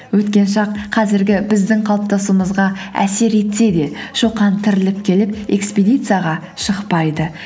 өткен шақ қазіргі біздің қалыптасуымызға әсер етсе де шоқан тіріліп келіп эспедицияға шықпайды